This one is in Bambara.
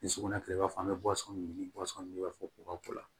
Ni sugunɛ kila i b'a fɔ an bɛ ɲini i b'a fɔ k'u ka ko la